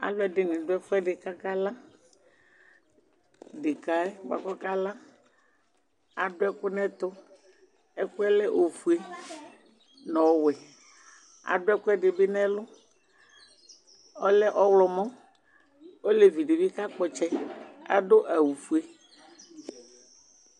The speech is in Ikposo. Aluɛdini du ɛfuɛdi kakala ɖeka yɛ kala adu ɛku nɛtu ɛkuɛ lɛ ofuele nu ɔwɛ ɛkuɛdi bi nu ɛlu ɔlɛ ɔɣlomɔ olevidibi ɔka kpɔ ɔtsɛ adu awu ofue